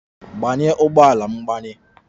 Gbanye ụgbọ ala mgbanye!